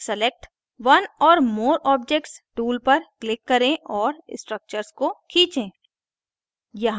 select one or more objects tool पर click करें और structures को खींचें